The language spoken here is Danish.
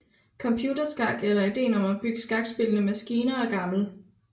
Computerskak eller ideen om at bygge skakspillende maskiner er gammel